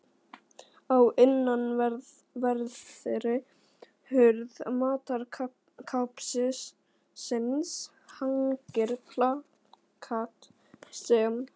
Á innanverðri hurð matarskápsins hangir plakat sem